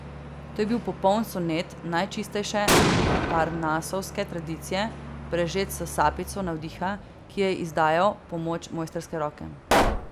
To je bil popoln sonet najčistejše parnasovske tradicije, prežet s sapico navdiha, ki je izdajal pomoč mojstrske roke.